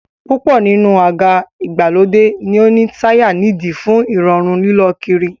Púpọ̀ nínú àga ìgbàlódé ni ó ní táyà nídìí fún Ìrọ̀rùn lílọ kiri